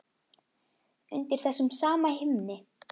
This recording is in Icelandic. Undir þessum sama himni.